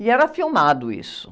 E era filmado isso.